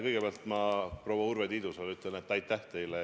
Kõigepealt ütlen ma proua Urve Tiidusele aitäh.